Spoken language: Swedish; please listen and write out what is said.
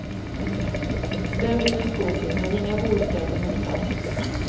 Där brinner skogen men inga bostäder hotas.